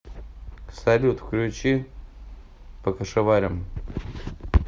салют включи покашеварим